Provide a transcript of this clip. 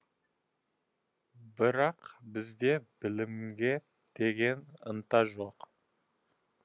бірақ бізде білімге деген ынта жоқ